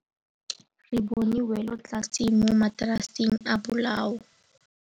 Re bone wêlôtlasê mo mataraseng a bolaô.